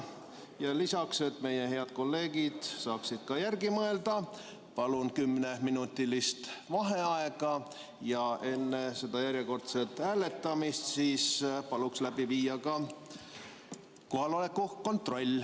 Selleks, et meie head kolleegid saaksid järele mõelda, palun kümneminutilist vaheaega ja palun enne järjekordset hääletamist läbi viia ka kohaloleku kontrolli.